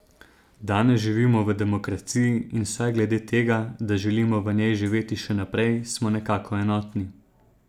Danes živimo v demokraciji in vsaj glede tega, da želimo v njej živeti še naprej, smo nekako enotni.